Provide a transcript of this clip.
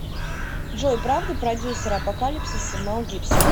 джой правда продюсер апокалипсиса мел гибсон